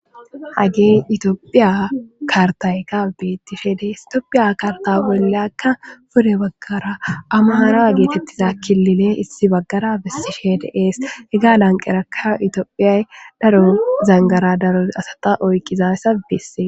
Hagey itoophiya kartayka bettishe dees itoophiya karta bolle akka pure baggara amaara geetettiza kilile issi baggara bessishe deees iga lanqerakka itoophiyay daro zangara daro asata oyqqizay ssabesse